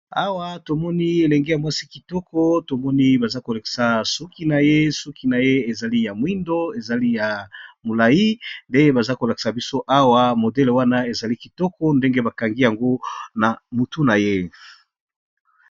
Awa tomoni elenge ya mwasi kitoko tomoni baza kolakisa suki na ye suki na ye ezali ya mwindo ezali ya molai nde baza kolakisa biso awa modele wana ezali kitoko ndenge bakangi yango na motu na ye.